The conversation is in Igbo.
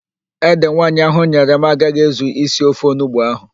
Ede nwaanyị ahụ nyere m agaghị ezu isi ofe onugbo ahụ.